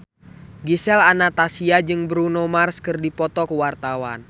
Gisel Anastasia jeung Bruno Mars keur dipoto ku wartawan